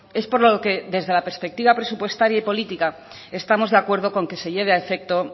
es por lo que desde la perspectiva presupuestaria y política estamos de acuerdo con que se lleva a efecto